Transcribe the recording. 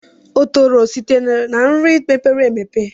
Otolo sitere na nri mepere emepe.